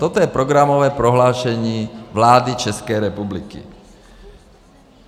Toto je programové prohlášení vlády České republiky.